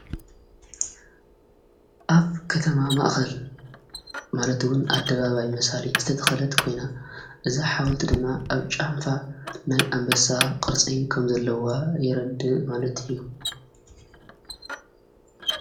ኣብ ከተማ ማእኸል ማለትውን ኣደባባይ መሣሌ ዝተተኸለት ኮይና እዛ ሓወልቲ ድማ ኣብ ጫንፋ ናይ ኣምበሳ ቐርጽ ኸም ዘለዋ የረድእ ማለት እዩ::